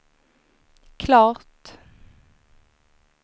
klart